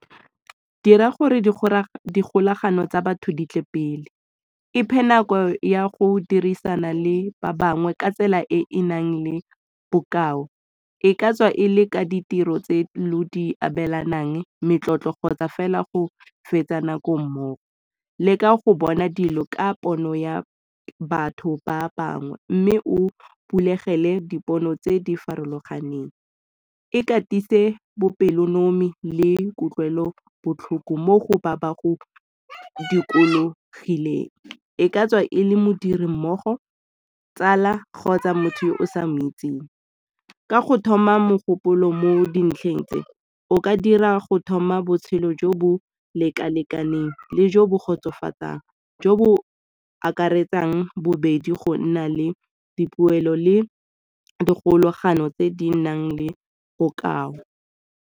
Dira gore dikgolagano tsa batho di tle pele, iphe nako ya go dirisana le ba bangwe ka tsela e e nang le bokao. E ka tswa e le ka ditiro tse lo di abelanang, metlotlo kgotsa fela go fetsa nako mmogo. Leka go bona dilo ka pono ya batho ba bangwe, mme o bulegile dipono tse di farologaneng. Ikatise bopelonomi le kutlwelobotlhoko mo go ba ba go dikologileng, e ka tswa e le modirimmogo, tsala, kgotsa motho yo o sa moitseng. Ka go thoma mogopolo mo dintlheng tse o ka dira go thoma botshelo jo bo leka-lekaneng le jo bo kgotsofatsang jo bo akaretsang bobedi go nna le dipoelo le dikgolagano tse di nang le bokao.